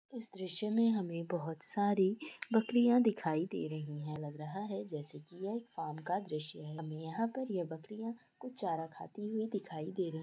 इस दृश्य में हमें बहुत सारी बकरियां दिखाई दे रही है ऐसा लग रहा है जैसे की ये एक फार्म का दृश्य है | हमें यहाँ पर ये बकरियां कुछ चारा खाती हुई दिखाई दे रही